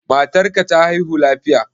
Matar ka ta haihu lafiya?